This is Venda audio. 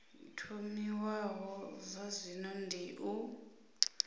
thomiwaho zwa zwino dzi o